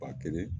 Ba kelen